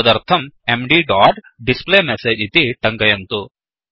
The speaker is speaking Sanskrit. तदर्थं mdडोट् displayMessageडिस्प्ले मेसेज् इति टङ्कयन्तु